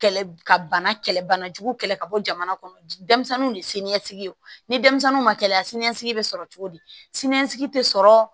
Kɛlɛ ka bana kɛlɛ bana jugu kɛlɛ ka bɔ jamana kɔnɔ denmisɛnninw de ye siniɲɛsigi ye o ni dɛmisɛnninw ma kɛlɛ siniɲɛsigi bɛ sɔrɔ cogo di siniɲɛsigi tɛ sɔrɔ